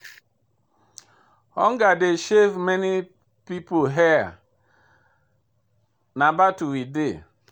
Hunger don shave many people hair, na battle we dey.